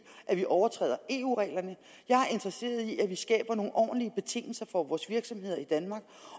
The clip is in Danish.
at vi overtræder eu reglerne jeg er interesseret i at vi skaber nogle ordentlige betingelser for vores virksomheder i danmark